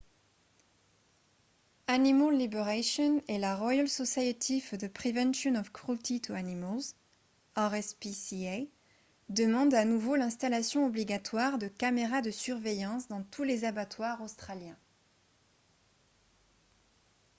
animal liberation et la royal society for the prevention of cruelty to animals rspca demandent à nouveau l’installation obligatoire de caméras de surveillance dans tous les abattoirs australiens